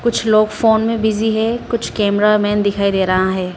कुछ लोग फोन में बिजी है कुछ कैमरामैन दिखाई दे रहा है।